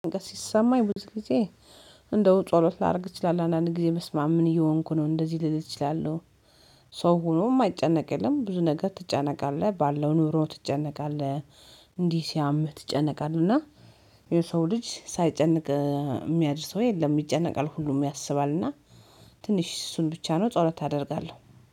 ሲሰማኝ ብዙ ጊዜ እንደው ጸሎት ላድርግ እችላለሁ፥ አንዳንድ ጊዜ በስመማም ምን እየሆንኩ ነው፤ እንደዚህ ልል እችላለሁ፤ ሰው ሆኖም የማይጨነቅ የለም። ብዙ ነገር ትጨነቃለህ፤ ባለው ኑሮ ትጨነቃለህ፤ እንዲህ ሲያምህ ትጨነቃለህ እና የሰው ልጅ ሳይጨንቅ የሚያድር ሰው የለም ይጨነቃል ሁሉም ያስባል እና ትንሽ እሱን ብቻ ነው ጸሎት አደርጋለሁ።